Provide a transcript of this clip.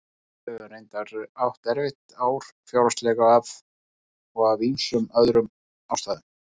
Við höfum reyndar átt erfitt ár fjárhagslega og af ýmsum öðrum ástæðum.